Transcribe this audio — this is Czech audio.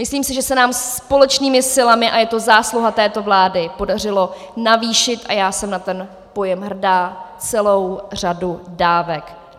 Myslím si, že se nám společnými silami, a je to zásluha této vlády, podařilo navýšit, a já jsem na ten pojem hrdá, celou řadu dávek.